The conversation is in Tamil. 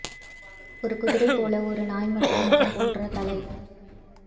ஒரு குதிரை போல ஒரு நாய் மற்றும் முகம் போன்ற தலை